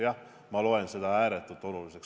Jah, ma loen seda ääretult oluliseks.